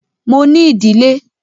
Mo ní ìdílé.